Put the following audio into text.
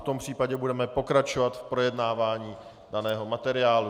V tom případě budeme pokračovat v projednávání daného materiálu.